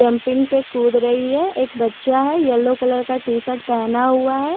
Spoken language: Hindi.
प्लाम्पिंग पे कूद रही है एक बच्चा है येल्लो कलर का टी शर्ट पहना हुआ है।